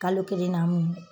Kalo kelen namu